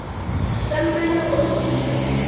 tsa mmala o motsho le